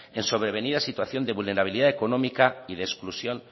en sobrevenida situación de vulnerabilidad económica y de exclusión